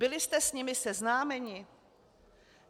Byli jste s nimi seznámeni?